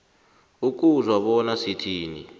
ukuzwa bona sithini